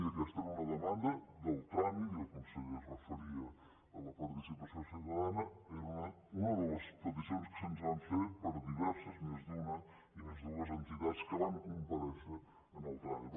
i aquesta era una demanda del tràmit i el conseller es referia a la parti·cipació ciutadana era una de les peticions que se’ns van fer per diverses més d’una i més de dues entitats que van comparèixer en el tràmit